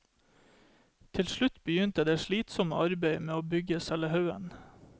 Til slutt begynte det slitsomme arbeidet med å bygge selve haugen.